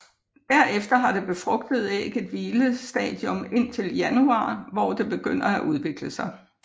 Derefter har det befrugtede æg et hvilestadium indtil januar hvor det begynder at udvikle sig